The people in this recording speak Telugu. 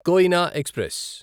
కోయినా ఎక్స్ప్రెస్